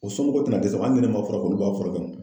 O somɔgɔw te na dɛsɛ . Hali ni ne ma furakɛ olu b'a furakɛ.